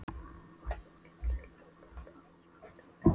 Á hinn bóginn geta deilur auðvitað haft alvarlegar afleiðingar.